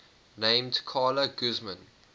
named carla guzman